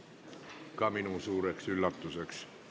See tuli ka minule suureks üllatuseks.